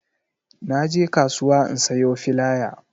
Na je kasuwa in sayo filaya